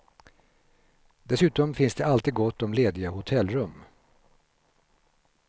Dessutom finns det alltid gott om lediga hotellrum.